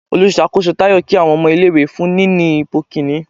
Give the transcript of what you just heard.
Òlusakoso tayọ ki awọn ọmọ ìlé-ìwé fún níní ipo kinní